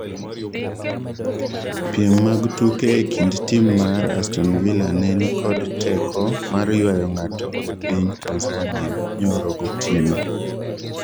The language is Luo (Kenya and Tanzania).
piem mag tuke e kind tim mar aston villa ne nikod teko mar ywayo ng'ato e piny Tanzania nyoro gotieno